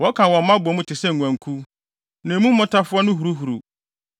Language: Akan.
Wɔka wɔn mma bɔ mu te sɛ nguankuw; na emu mmotafowa no huruhuruw.